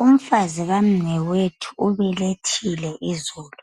Umfazi kamnewethu ubelethile izolo,